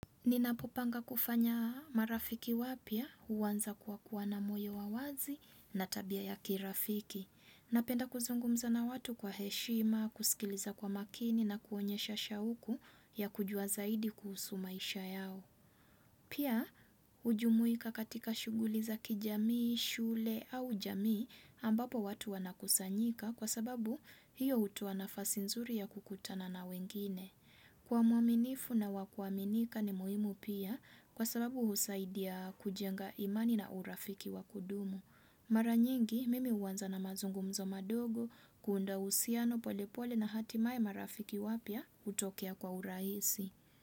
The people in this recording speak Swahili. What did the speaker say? Ninapopanga kufanya marafiki wapya huanza kwa kuwa na moyo wa wazi na tabia ya kirafiki. Napenda kuzungumza na watu kwa heshima, kusikiliza kwa makini na kuonyesha shauku ya kujua zaidi kuhusu maisha yao. Pia hujumuika katika shughuli za kijamii, shule au jamii ambapo watu wanakusanyika kwa sababu hiyo hutoa nafasi nzuri ya kukutana na wengine. Kuwa muaminifu na wa kuaminika ni muhimu pia kwa sababu husaidia kujenga imani na urafiki wa kudumu. Mara nyingi mimi huanza na mazungumzo madogo kuunda uhusiano polepole na hatimaye marafiki wapya hutokea kwa urahisi.